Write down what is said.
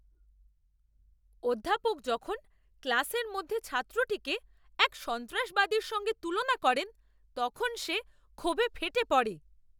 অধ্যাপক যখন ক্লাসের মধ্যে ছাত্রটিকে এক সন্ত্রাসবাদীর সঙ্গে তুলনা করেন, তখন সে ক্ষোভে ফেটে পড়ে।